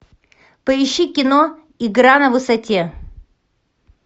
поищи кино игра на высоте